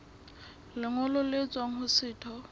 lengolo le tswang ho setho